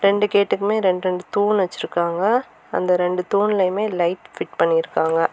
ரெண்டு கேட்டுக்குமே ரெண்டு ரெண்டு தூண் வச்சிருக்காங்க அந்த ரெண்டு தூண்லையுமே லைட் ஃபிட் பண்ணிருக்காங்க.